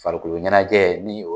Farikolo ɲanajɛ ni o